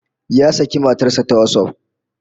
Ya saki matar sa ta WhatsApp